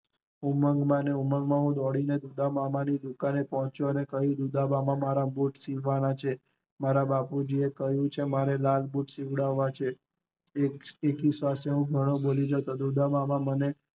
ઉમંગ ઉમંગ માં ને હું ઉદામમા ને ત્યાં પોચી ગયો, કહીંયુ કે મારે મામા મારે બુટ સીવડાવના છે, મારા બાપૂજીયાએ કહીંયુ ચ્ચે મારે લાલ બુટ સીવડાવના છે એકી શ્વાસે હું ઘણું બોલી જતો ઊદ્દમામાં મને